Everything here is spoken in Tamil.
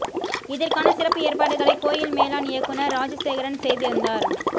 இதற்கான சிறப்பு ஏற்பாடுகளை கோயில் மேலாண் இயக்குனர் ராஜசேகரன் செய்திருந்தார்